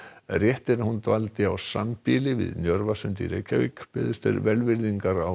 rétt er að hún dvaldi á sambýli við beðist er velvirðingar á